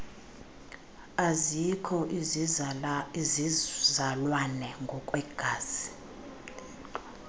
azikho izizalwane ngokwegazi